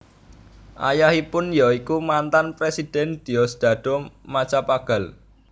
Ayahipun ya iku mantan Presiden Diosdado Macapagal